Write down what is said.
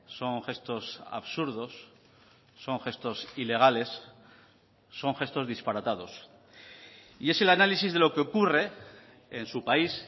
son gestos absurdos son gestos ilegales son gestos disparatados y es el análisis de lo que ocurre en su país